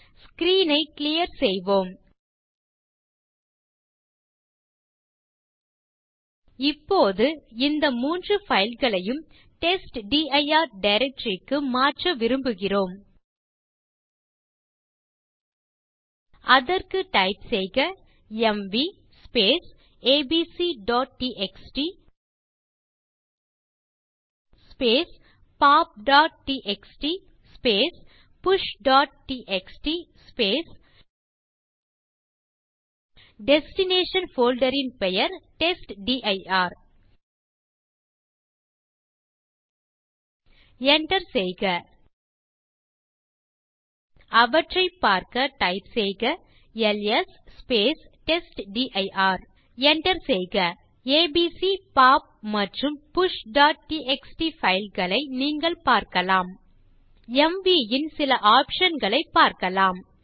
screen ஐ clear செய்வோம் இப்போது இந்த 3 fileகளையும் டெஸ்ட்டிர் டைரக்டரி க்கு மாற்ற விரும்புகிறோம் அதற்கு டைப் செய்க எம்வி abcடிஎக்ஸ்டி popடிஎக்ஸ்டி pushடிஎக்ஸ்டி டெஸ்டினேஷன் போல்டர் ன் பெயர் டெஸ்ட்டிர் enter செய்க அவற்றைப் பார்க்க டைப் செய்க எல்எஸ் டெஸ்ட்டிர் enter செய்க ஏபிசி பாப் மற்றும் pushடிஎக்ஸ்டி fileகளை நீங்கள் பார்க்கலாம் எம்வி ன் சில ஆப்ஷன் களைப் பார்க்கலாம்